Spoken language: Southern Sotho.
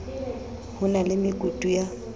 ho na le mekutu ya